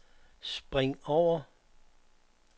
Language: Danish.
spring over